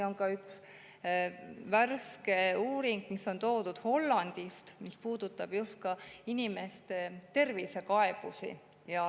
On üks värske uuring Hollandist, mis puudutab just ka inimeste tervisekaebusi.